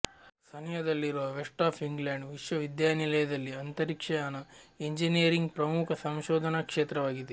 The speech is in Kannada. ಸನಿಹದಲ್ಲಿರುವ ವೆಸ್ಟ್ ಆಫ್ ಇಂಗ್ಲೆಂಡ್ ವಿಶ್ವವಿದ್ಯಾನಿಲಯದಲ್ಲಿ ಅಂತರಿಕ್ಷಯಾನ ಇಂಜಿನಿಯರಿಂಗ್ ಪ್ರಮುಖ ಸಂಶೋಧನಾ ಕ್ಷೇತ್ರವಾಗಿದೆ